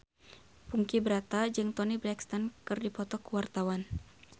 Ponky Brata jeung Toni Brexton keur dipoto ku wartawan